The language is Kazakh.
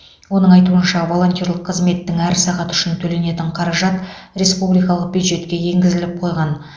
оның айтуынша волонтерлік қызметтің әр сағаты үшін төленетін қаражат республикалық бюджетке енгізіліп қойған